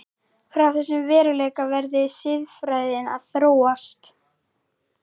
Frá þessum veruleika verði siðfræðin að þróast.